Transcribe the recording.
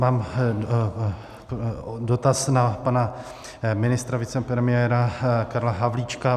Mám dotaz na pana ministra, vicepremiéra Karla Havlíčka.